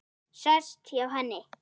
Sest hjá henni.